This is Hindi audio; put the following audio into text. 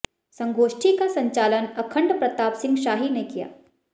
संगोष्ठी का संचालन अखण्ड प्रताप सिंह शाही ने किया